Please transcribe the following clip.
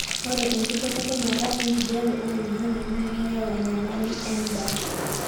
ore enkibelekenyata enkijape oloingangi naa keyau enyamali endaa